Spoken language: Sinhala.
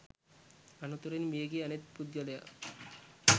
අනතුරෙන් මියගිය අනෙක් පුද්ගලයා